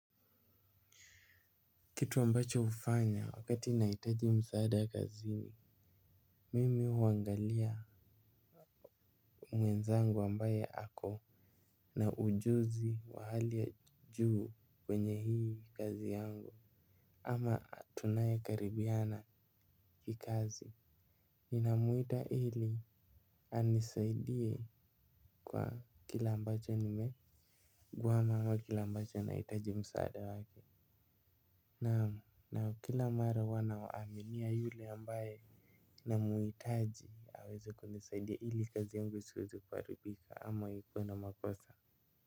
Kitu ambacho hufanya wakati nahitaji msaada kazini, mimi huangalia mwenzangu ambaye ako na ujuzi wa hali ya juu kwenye hii kazi yangu ama tunayekaribiana kikazi. Ninamuita ili anisaidie kwa kila ambacho nimekwama wa kile ambacho nahitaji msaada wake. Naam na kila mara huwa na aminia yule ambaye namhitaji aweze kunisaidia ili kazi yangu isiweze kuharibika ama ikuwe na makosa.